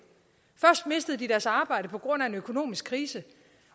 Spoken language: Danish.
først mistede de deres arbejde på grund af en økonomisk krise